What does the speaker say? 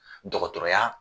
Dɔgɔtɔrɔya